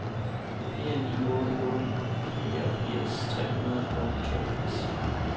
fire ni otte otte fireogfirs tre hundrede og toogfirs